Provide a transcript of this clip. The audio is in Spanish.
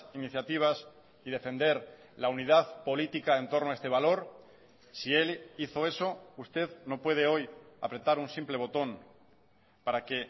iniciativas y defender la unidad política en torno a este valor si él hizo eso usted no puede hoy apretar un simple botón para que